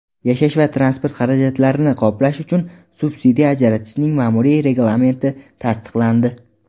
yashash va transport xarajatlarini qoplash uchun subsidiya ajratishning ma’muriy reglamenti tasdiqlandi.